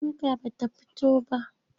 Shuka ba ta fito ba.